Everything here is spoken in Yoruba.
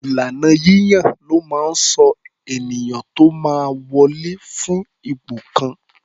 Ìlànà yíyàn ló máa ń sọ ènìyàn tó máa wọlè fún ipò kan.